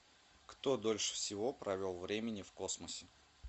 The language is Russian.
кто дольше всего провел времени в космосе